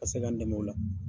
ka se k'an dɛmɛ o la.